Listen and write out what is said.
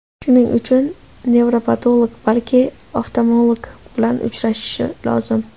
Shuning uchun nevropatolog, balki oftalmolog bilan uchrashish lozim.